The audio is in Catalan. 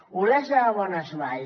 olesa de bonesvalls